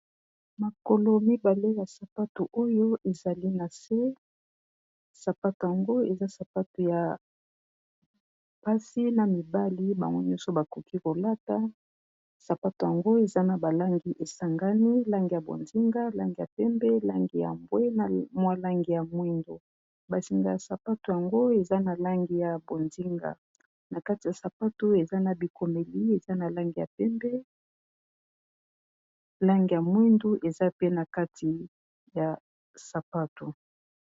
Makolo mibalé ya sapato oyo ezali na se. Sapato yango eza sapato ya basi na mibali, bango nyonso bakoki kolata, sapato yango eza na ba langi ésangani, langi ya bonzinga langi ya pembé, langi ya mbwe na mwa langi ya mwindu, ba singa ya sapato yango eza na langi ya bonzinga , na kati ya sapato oyo eza na bikomeli eza na langi ya pembé, langi ya mwindu ,eza pe na kati ya sapato.